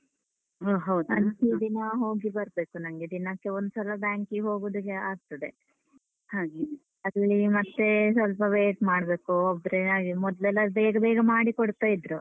ಅಂತೂ ದಿನಾ ಹೋಗಿ ಬರ್ಬೇಕು ನಂಗೆ. ದಿನಕ್ಕೆ ಒಂದ್ಸಲ ಬ್ಯಾಂಕಿಗ್ ಹೋಗುದಕ್ಕೆ ಆಗ್ತದೆ ಹಾಗೆನೆ. ಅದ್ರಲ್ಲಿ ಮತ್ತೆ ಸ್ವಲ್ಪ wait ಮಾಡ್ಬೇಕು ಒಬ್ರೇ ಹಾಗೆ, ಮೊದ್ಲೆಲ್ಲ ಬೇಗ ಬೇಗ ಮಾಡಿ ಕೊಡ್ತಾ ಇದ್ರು.